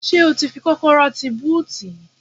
Ṣé ó ti fi kọ́kọ́rọ́ tí búùtì?